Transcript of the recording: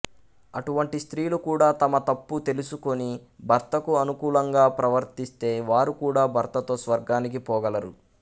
అటువంటి స్త్రీలు కూడా తమతప్పు తెలుసుకుని భర్తకు అనుకూలంగా ప్రవర్తిస్తే వారు కూడా భర్తతో స్వర్గానికి పోగలరు